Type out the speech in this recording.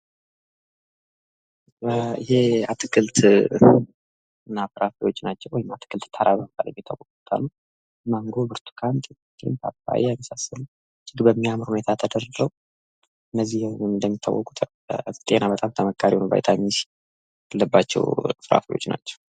ይህ አትክልት አትክልትና ፍራፍሬዎች ናቸው። አትክልት ማንጎ፣ ብርቱካን፣ ፓፓያ እና የመሳሰሉት በሚያምር ሁኔታ ተደርድረው እነዚህ በሙሉ እንደሚታወቁት ለጤና በጣም ተመካሪ የሆነው ቪታሚን ሲ አላቸው።